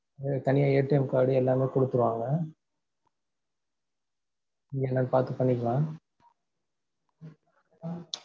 உங்களுக்கு தனியா card எல்லாமே குடுத்திடுவாங்க இது என்னன்னு பாத்து பண்ணிக்கலாம்